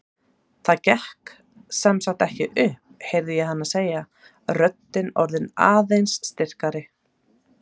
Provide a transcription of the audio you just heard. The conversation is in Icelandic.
Það gekk sem sagt ekki upp, heyri ég hana segja, röddin orðin aðeins styrkari.